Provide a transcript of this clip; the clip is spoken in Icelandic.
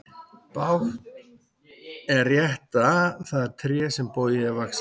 Bágt er rétta það tré sem bogið er vaxið.